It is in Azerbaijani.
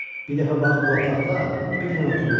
Bir dəfə bax bu otaqda Billə oturmuşduq.